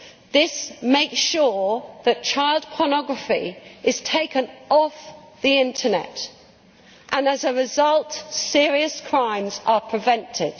This makes sure that child pornography is taken off the Internet and as a result serious crimes are prevented.